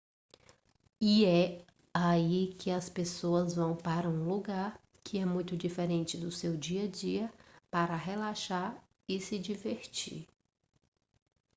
e é aí que as pessoas vão para um lugar que é muito diferente do seu dia a dia para relaxar e se divertir